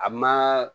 A ma